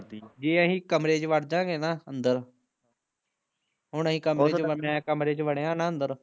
ਜੇ ਅਸੀਂ ਕਮਰੇ ਚ ਵੜਜਾਗੇ ਨਾ ਅੰਦਰ ਹੁਣ ਅਸੀਂ ਕਮਰੇ ਚ ਮੈਂ ਕਮਰੇ ਚ ਵੜਿਆ ਨਾ ਅੰਦਰ